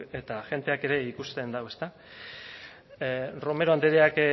eta jendeak ere ikuste du ezta romero andreak